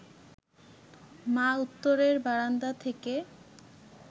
মা উত্তরের বারান্দা থেকে